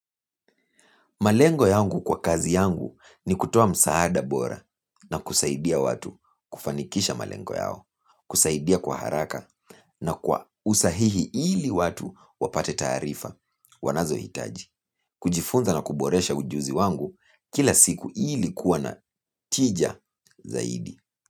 Malengo yangu kwa kazi yangu ni kutoa msaada bora na kusaidia watu kufanikisha malengo yao, kusaidia kwa haraka na kwa usahihi ili watu wapate taarifa wanazo hitaji. Kujifunza na kuboresha ujuzi wangu kila siku ili kuwa na tija zaidi.